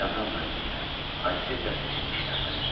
Kamran müəllim də, Aysel də seçilmişlərdən idi.